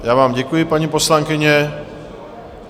Já vám děkuji, paní poslankyně.